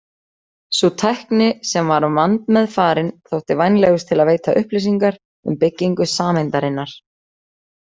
Sú tækni, sem var vandmeðfarin, þótti vænlegust til að veita upplýsingar um byggingu sameindarinnar.